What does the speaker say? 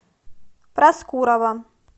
проскурова